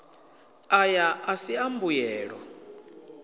aya a si a mbuyelo